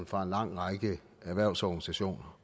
fra en lang række erhvervsorganisationer